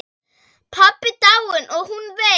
Pabbi dáinn og hún veik.